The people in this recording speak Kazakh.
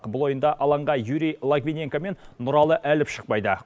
бұл ойында алаңға юрий логвиненко мен нұралы әліп шықпайды